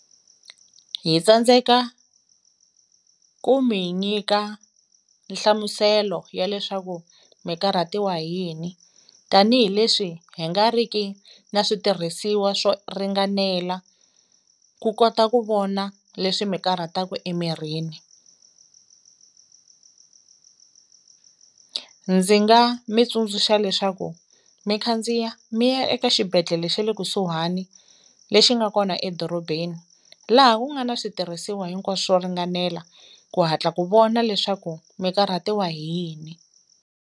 Hi tsandzeka ku mi nyika nhlamuselo ya leswaku mikarhatiwa hi yini tanihileswi hi nga ri ki na switirhisiwa swo ringanela ku kota ku vona leswi mi karhataku emirhini ndzi nga mi tsundzuxa leswaku mi khandziya mi ya eka xibedhlele xe le kusuhani lexi nga kona edorobeni laha ku nga na switirhisiwa hinkwaswo swo ringanela ku hatla ku vona leswaku mikarhatiwa hi yini.